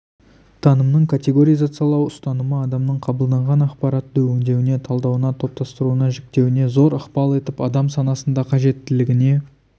танымның категоризациялау ұстанымы адамның қабылданған ақпаратты өңдеуіне талдауына топтастыруына жіктеуіне зор ықпал етіп адам санасында қажеттілігіне